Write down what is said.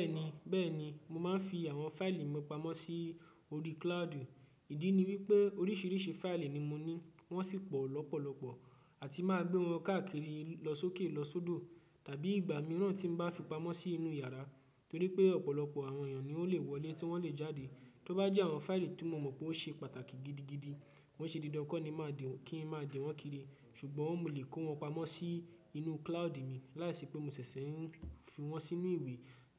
Bẹ́ẹ̀ni, bẹ́ẹ̀ni, mo máa ń fi àwọn fáìlì mi pamọ́ sí orí cloud. Ìdí ni wípé oríṣiríṣi fáìlì ni mo ní, wọ́n sì pọ̀ lọ́pọ̀lọpọ̀ àti máa gbé wọn káàkiri lọ sókè lọ sódò tàbí ìgbà mìíràn tí ń bá fi pamọ́ sí inú yàrá torí pé ọ̀pọ̀lọpọ̀ àwọn èèyàn ni ó lè wọlé tí wọ́n lè jáde. Tí ó bá jẹ́ àwọn fáìlì tí mo mọ̀ pé ó ṣe pàtàkì gidigidi, ko n ṣe dídá ńi kọ ni màá di kí n máa di wọn kiri, ṣùgbọ́n mo lè kó wọn pamọ́ sí inú cloud mi láìsí pé mo ṣẹ̀ṣẹ̀ ń fi wọn sínú ìwé